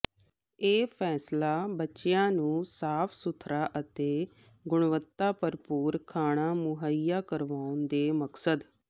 ਇਹ ਫੈਸਲਾ ਬੱਚਿਆਂ ਨੂੰ ਸਾਫ਼ ਸੁਥਰਾ ਅਤੇ ਗੁਣਵੱਤਾ ਭਰਪੂਰ ਖਾਣਾ ਮੁਹੱਈਆ ਕਰਾਉਣ ਦੇ ਮਕਸਦ